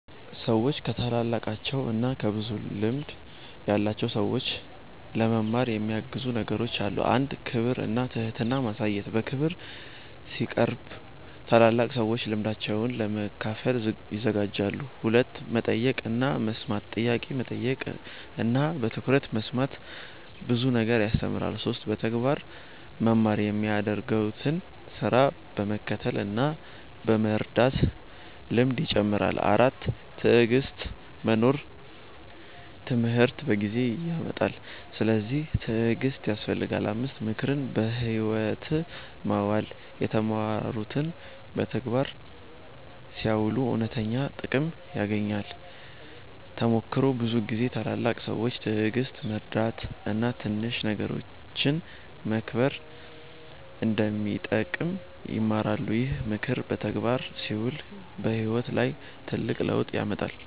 ሰዎች ከታላላቃቸው እና ከብዙ ልምድ ያላቸው ሰዎች ለመማር የሚያግዙ ነገሮች አሉ። 1. ክብር እና ትህትና ማሳየት በክብር ሲቀርቡ ታላላቅ ሰዎች ልምዳቸውን ለመካፈል ይዘጋጃሉ። 2. መጠየቅ እና መስማት ጥያቄ መጠየቅ እና በትኩረት መስማት ብዙ ነገር ያስተምራል። 3. በተግባር መማር የሚያደርጉትን ስራ በመከተል እና በመርዳት ልምድ ይጨምራል። 4. ትዕግሥት መኖር ትምህርት በጊዜ ይመጣል፤ ስለዚህ ትዕግሥት ያስፈልጋል። 5. ምክርን በሕይወት ማዋል የተማሩትን በተግባር ሲያውሉ እውነተኛ ጥቅም ይገኛል። ተሞክሮ ብዙ ጊዜ ታላላቅ ሰዎች ትዕግሥት፣ መርዳት እና ትንሽ ነገሮችን መከብር እንደሚጠቅም ይማሩናል። ይህ ምክር በተግባር ሲውል በሕይወት ላይ ትልቅ ለውጥ ያመጣል።